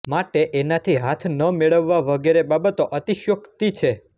માટે એનાથી હાથ ન મેળવવા વગેરે બાબતો અતિશયોકતિ છે